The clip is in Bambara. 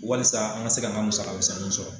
Walasa an ka se k'an ka musaga misɛnnin sɔrɔ.